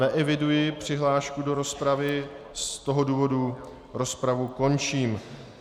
Neeviduji přihlášku do rozpravy, z toho důvodu rozpravu končím.